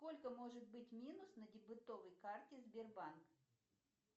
сколько может быть минус на дебетовой карте сбербанк